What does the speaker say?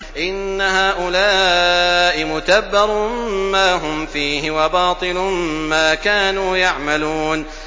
إِنَّ هَٰؤُلَاءِ مُتَبَّرٌ مَّا هُمْ فِيهِ وَبَاطِلٌ مَّا كَانُوا يَعْمَلُونَ